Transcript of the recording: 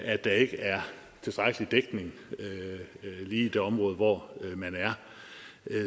at der ikke er tilstrækkelig dækning lige i det område hvor man er